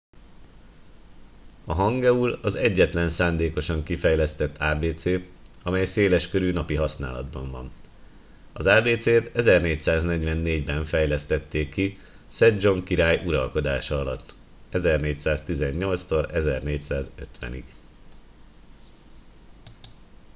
a hangeul az egyetlen szándékosan kifejlesztett ábécé amely széleskörű napi használatban van. az ábécét 1444-ben fejlesztették ki szedzsong király uralkodása alatt 1418-1450